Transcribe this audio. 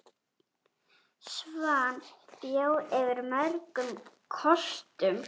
Svan bjó yfir mörgum kostum.